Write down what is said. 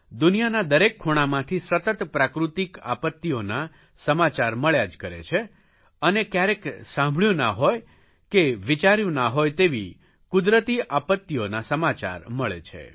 દુનિયાના દરેક ખૂણામાંથી સતત પ્રાકૃતિક આપત્તિઓના સમાચાર મળ્યા જ કરે છે અને કયારેક સાંભળ્યું ના હોય કે વિચાર્યું ના હોય તેવી કુદરતી આપત્તિઓના સમાચાર મળે છે